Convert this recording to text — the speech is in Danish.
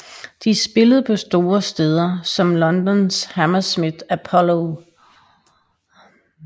De spillede på store steder som Londons Hammersmith Apollo